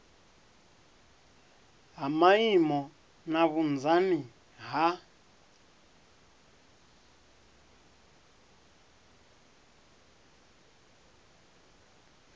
ha maimo na vhunzani ha